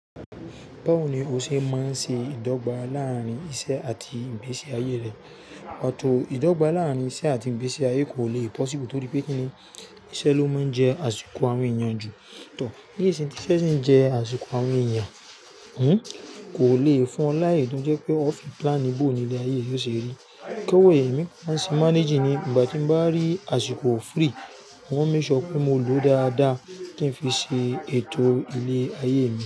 Báwo ni o ṣe máa ń ṣe ìdọ́gba láàárín iṣẹ́ àti ìgbésí ayé rẹ? Ìdọ́gba láàárín iṣẹ́ àti ìgbésí ayé kò le pọ̀síbù, torí pé Kíni iṣẹ́ ló máa ń jẹ́ àsìkò awon èèyàn jù. Níisin tí iṣẹ́ sì ń jẹ́ àsìkò awọn èèyàn, hmmm kò le fún ọ laaye to jẹ́ pé ó fi plan boo ni ilé ayé rẹ yóò ṣe rí. Èmi máa ń ṣe manage ní ìgbà tí mo bá rí àsìkò free, mo máa ń make sure pé mo lòó dáadáa kí n fi ṣe ètò ilé ayé mi.